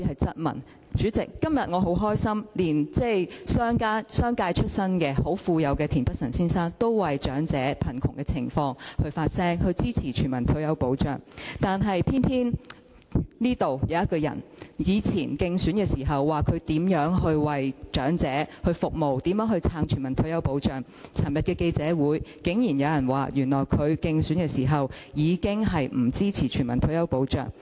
主席，今天我很高興，連在商界出身、很富有的田北辰議員，也為長者的貧窮情況發聲，支持全民退休保障，但偏偏這裏有一個人，他以往在競選時說過會為長者服務，並支持全民退休保障，但在昨天的記者會上，竟然說原來他在競選時，便已經不支持全民退休保障。